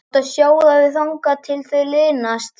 Þú átt að sjóða þau þangað til þau linast.